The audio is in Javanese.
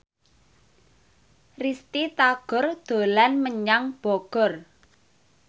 Risty Tagor dolan menyang Bogor